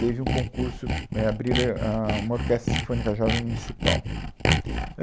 Teve um concurso, é, abriram, ah, uma orquestra sinfônica jovem municipal.